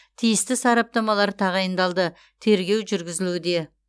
тиісті сараптамалар тағайындалды тергеу жүргізілуде